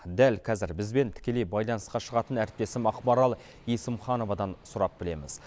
дәл кәзір бізбен тікелей байланысқа шығатын әріптесім ақмарал есімхановадан сұрап білеміз